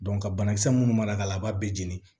ka banakisɛ munnu mara ka la a b'a bɛɛ jeni